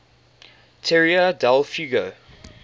tierra del fuego